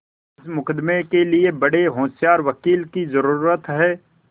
इस मुकदमें के लिए बड़े होशियार वकील की जरुरत है